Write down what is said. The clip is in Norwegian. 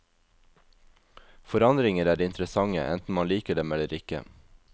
Forandringer er interessante, enten man liker dem eller ikke.